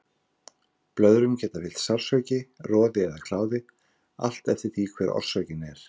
Blöðrum geta fylgt sársauki, roði eða kláði, allt eftir því hver orsökin er.